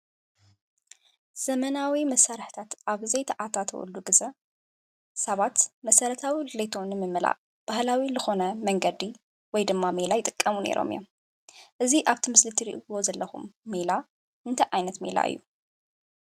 ዘመናዊ መሳርሕታት ኣብዘይ ተኣታተወሉ ግዜ ሰባት መሰረታዊ ድልየቶም ንምምላእ ባህላዊ ዝኾነ መንገዲ ወይ ድማ ሜላ ይጥቀሙ ነይሮም እዮም። እዚ አብቲ ምስሊ ትሪእይዎ ዘለኹም ሜላ እንታይ ዓይነት ሜላ እዩ?